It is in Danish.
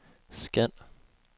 scan